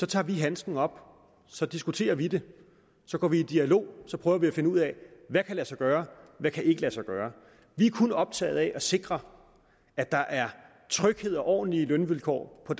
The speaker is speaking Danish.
tager vi handsken op så diskuterer vi det så går vi i dialog så prøver vi at finde ud af hvad kan lade sig gøre og hvad kan ikke lade sig gøre vi er kun optaget af at sikre at der er tryghed og ordentlige lønvilkår på